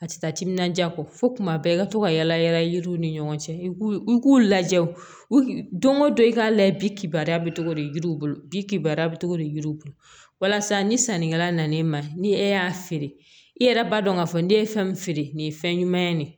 A tɛ taa timinandiya kɔ fo tuma bɛɛ i ka to ka yala yala yiriw ni ɲɔgɔn cɛ i k'u k'u lajɛ o don o don i k'a layɛ bi k'ibara bɛ togo de yiriw bolo bi kibaruya bɛ togo di yiriw bolo walasa ni sannikɛla nan'i ma ni e y'a feere i yɛrɛ b'a dɔn k'a fɔ n'i ye fɛn feere nin ye fɛn ɲuman ye nin